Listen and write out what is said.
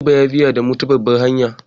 Direba ya bi damu ta babbar hanya.